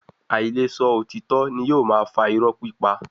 Áí le sọ òtítọ́ ni yóò máa fa iró pípa.